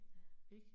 Ja